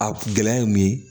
A gɛlɛya ye mun ye